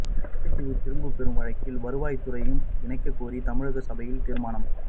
கச்சதீவை திரும்பப் பெறும் வழக்கில் வருவாய்துறையையும் இணைக்க கோரி தமிழக சபையில் தீர்மானம்